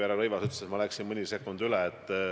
Härra Rõivas ütles, et ma läksin mõni sekund üle.